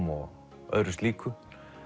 og öðru slíku